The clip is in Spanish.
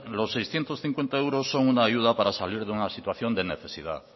los seiscientos cincuenta euros son una ayuda para salir de una situación de necesidad